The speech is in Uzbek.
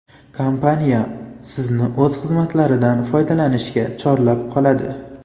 Kompaniya Sizni o‘z xizmatlaridan foydalanishga chorlab qoladi.